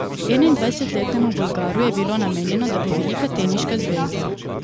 Enaindvajsetletnemu Bolgaru je bilo namenjeno, da bo velika teniška zvezda.